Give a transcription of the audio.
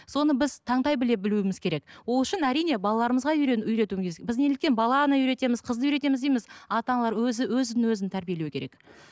соны біз таңдай біле білуіміз керек ол үшін әрине балаларымызға үйретуіміз біз неліктен баланы үйретеміз қызды үйретеміз дейміз ата аналар өзі өзін өзі тәрбиелеу керек